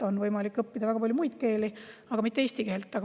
On võimalik õppida väga palju muid keeli, aga mitte eesti keelt.